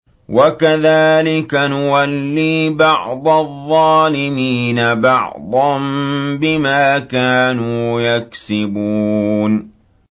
وَكَذَٰلِكَ نُوَلِّي بَعْضَ الظَّالِمِينَ بَعْضًا بِمَا كَانُوا يَكْسِبُونَ